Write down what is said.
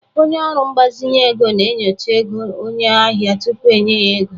Onye ọrụ mgbazinye ego na-enyocha ego onye ahịa tupu enye ya ego